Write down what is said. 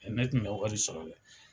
Ne tun bɛ wari sɔrɔ dɛ.